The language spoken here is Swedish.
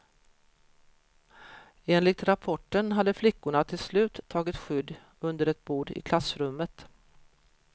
Enligt rapporten hade flickorna till slut tagit skydd under ett bord i klassrummet.